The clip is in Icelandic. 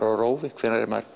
á rófi hvenær er maður